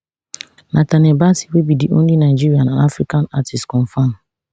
nathaniel bassey wey be di only nigerian and african artiste confam